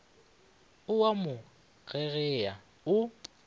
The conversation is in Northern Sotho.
o a mo gegea o